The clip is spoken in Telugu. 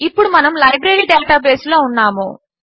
ఇప్పుడు మనము లైబ్రరీ డేటాబేస్లో ఉన్నాము